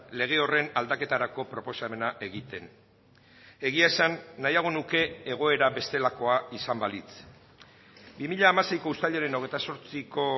lege horren aldaketarako proposamena egiten egia esan nahiago nuke egoera bestelakoa izan balitz bi mila hamaseiko uztailaren hogeita zortziko